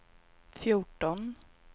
fjorton